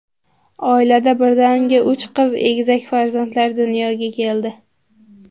Oilada birdaniga uch qiz egizak farzandlar dunyoga keldi.